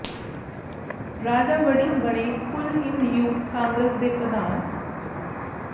ਰਾਜਾ ਵੜਿੰਗ ਬਣੇ ਕੁਲ ਹਿੰਦ ਯੂਥ ਕਾਂਗਰਸ ਦੇ ਪ੍ਰਧਾਨ